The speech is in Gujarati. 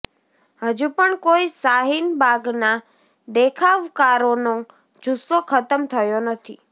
હજુ પણ કોઈ શાહીનબાગના દેખાવકારોનો જુસ્સો ખતમ થયો નથી